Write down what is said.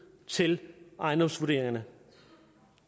til ejendomsvurderingerne